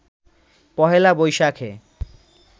১লা বৈশাখে